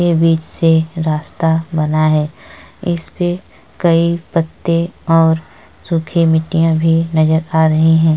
ये बीच से रस्ता बना है। इसपे कई पत्ते और सूखी मिट्टियाँ भी नज़र आ रही हैं ।